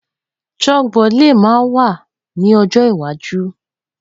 Chalkboard le ma wa ni ojo iwaju.